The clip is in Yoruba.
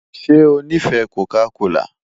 Ṣe o nifẹ Coca kola?